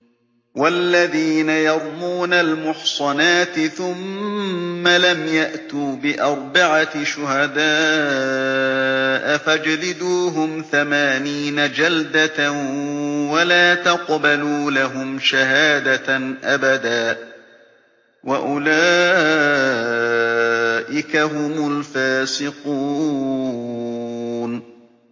وَالَّذِينَ يَرْمُونَ الْمُحْصَنَاتِ ثُمَّ لَمْ يَأْتُوا بِأَرْبَعَةِ شُهَدَاءَ فَاجْلِدُوهُمْ ثَمَانِينَ جَلْدَةً وَلَا تَقْبَلُوا لَهُمْ شَهَادَةً أَبَدًا ۚ وَأُولَٰئِكَ هُمُ الْفَاسِقُونَ